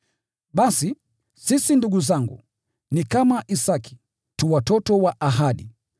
Basi, sisi ndugu zangu, ni kama Isaki, tu watoto wa ahadi.